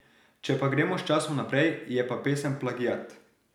Če pa gremo s časom naprej, je pa pesem plagiat.